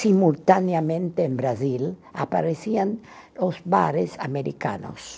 simultaneamente no Brasil, apareciam os bares americanos.